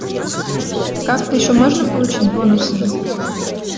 как-то ещё можно получить бонусами